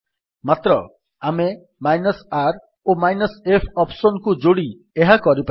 ମାତ୍ର ଆମେ r ଓ -f ଅପ୍ସନ୍ କୁ ଯୋଡି ଏହା କରିପାରିବା